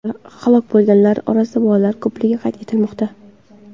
Halok bo‘lganlar orasida bolalar ko‘pligi qayd etilmoqda.